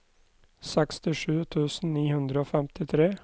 sekstisju tusen ni hundre og femtitre